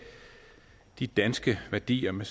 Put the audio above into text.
de danske værdier med